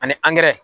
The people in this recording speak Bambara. Ani